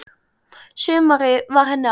Sumarið var henni allt.